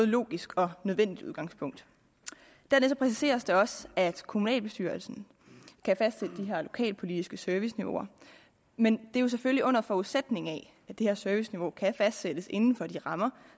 logisk og nødvendigt udgangspunkt dernæst præciseres det også at kommunalbestyrelsen kan fastsætte de her lokalpolitiske serviceniveauer men det er jo selvfølgelig under forudsætning af at det her serviceniveau kan fastsættes inden for de rammer